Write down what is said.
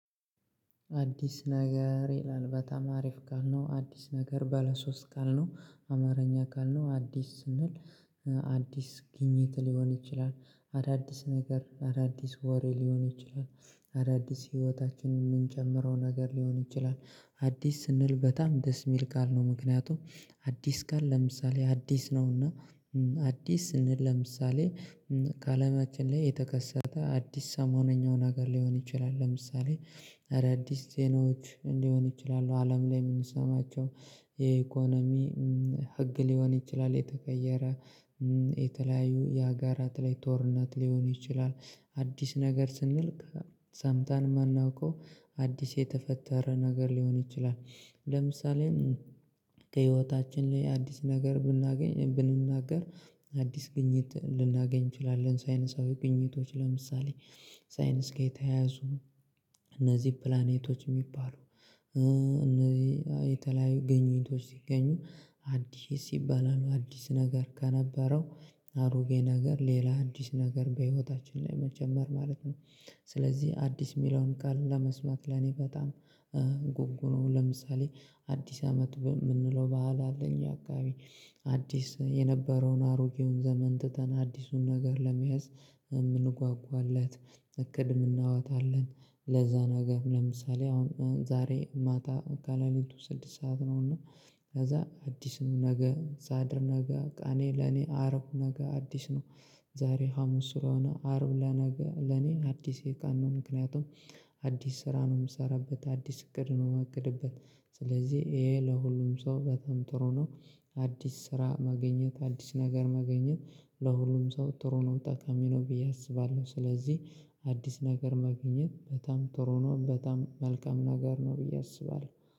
አዲስ ነገር ይላል በጣም አሪፍ ቃል ነው። አዲስ ነገር ባለ ሶስት ቃል ነው አማርኛ ቃል ነው። አዲስ ስንል አዲስ ግኝት ሊሆን ይችላል። አዳዲስ ነገር አዳዲስ ወሬ ሊሆን ይችላል። አዳዲስ ህይወታችንን የምንጨምረው ነገር ሊሆን ይችላል። አዲስ ስንል በጣም ደስ የሚል ቃል ነው። ምክንያቱም አዲስ ቃል ለምሳሌ አዲስ ነውና። አዲስ ስንል ለምሳሌ ከአለማችን ላይ የተከሰተ አዲስ ሰሞነኛው ነገር ሊሆን ይችላል። ለምሳሌ አዳዲስ ዜናዎች ሊሆን ይችላል። አለም ላይ የምንሰማቸው የኢኮኖሚ ህግ ሊሆን ይችላል የተቀየረ። የተለያዩ የሀገራት ላይ ጦርነት ሊሆኑ ይችላል። አዲስ ነገር ስንል ሰምተን የማናውቀው አዲስ የተፈጠረ ነገር ሊሆን ይችላል። ለምሳሌ ከህይወታችን ላይ አዲስ ነገር ብናገኝ ብንናገር አዲስ ግኝት ልናገኝ እንችላለን። ሳይነሳዊ ግኝቶች ለምሳሌ ሳይንስ ጋር የተያያዙ እነዚህ ፕላኔቶች የሚባሉ እነዚህ የተለያዩ ግኝቶች ሲገኙ። አዲስ ሲባል አዲስ ነገር ከነበረው አሮጌ ነገር ሌላ አዲስ ነገር በህይወታችን ላይ መጨመር ማለት ነው። ስለዚህ አዲስ የሚለውን ቃል ለመስማት ለኔ በጣም ጉጉ ነው። ለምሳሌ አዲስ አመት በምንለው ባህል አለ አለ እኛ አካባቢ። አዲስ የነበረውን አሮጌውን ዘመን ትተን አዲሱን ነገር ለመያዝ የምንጓጓለት እቅድ የምናወጣለት ለዛ ነገር ለምሳሌ አሁን ዛሬ ማታ ከለሊቱ ስድስት ሰዓት ነው። እና ከዛ አዲስ ነው ነገ ሳድር ነገ ቀኔ ለኔ አርብ ነገ አዲስ ነው። ዛሬ ሀሙስ ሱራውና አርብ። ለኔ አዲስ ቀን ነው። ምክንያቱም አዲስ ስራ ነው የምሰራበት አዲስ እቅድ ነው የማቅድበት። ስለዚህ ይሄ ለሁሉም ሰው በጣም ጥሩ ነው። አዲስ ስራ ማግኘት አዲስ ነገር ማግኘት ለሁሉም ሰው ጥሩ ነው ጠቃሚ ነው ብዬ አስባለሁ። ስለዚህ አዲስ ነገር ማግኘት በጣም ጥሩ ነው በጣም መልካም ነገር ነው ብዬ አስባለሁ